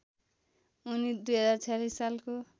उनी २०४६ सालको